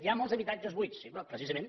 hi ha molts habitatges buits sí però precisament